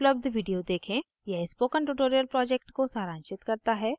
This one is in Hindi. यह spoken tutorial project को सारांशित करता है